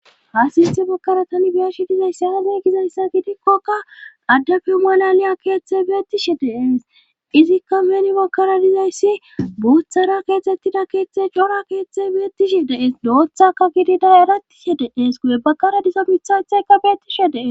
hasinte bukaratani biyashi dizayssi aazay gizayssa gidikkoka addafeu malaliya keeththey beettishe dees izikka meni bakara dizayssi buuthara keexettida keeththe cora keeththey beettishe dees doothaka gidida erattishe dees guye bakara dizo mithowetheyka beettishe dees